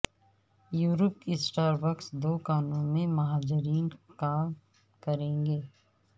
Europe کی Starbucks دوکانوں میں مہاجرین کام کریں گے